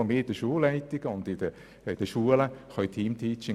Über diesen Pool können wir den Lehrkräften Teamteaching anbieten.